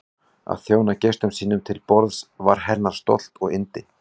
Að þjóna gestum sínum til borðs var hennar stolt og yndi.